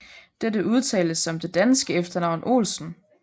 Dette udtales som det danske efternavn Olsen